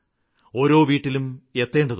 ഓരോ വീട്ടിലും എത്തേണ്ടതുണ്ട്